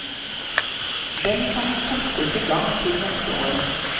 Den kan kastes i gang til neste år.